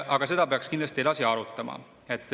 Aga seda peaks kindlasti arutama.